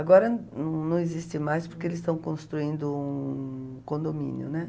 Agora não existe mais porque eles estão construindo um condomínio, né?